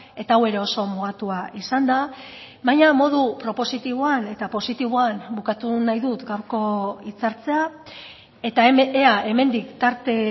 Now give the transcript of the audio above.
eta hau ere oso mugatua izan da baina modu propositiboan eta positiboan bukatu nahi dut gaurko hitzartzea eta ea hemendik tarte